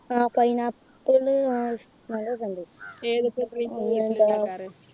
അഹ് Pineapple ആ ഇഷ്ടോക്കെയിണ്ട്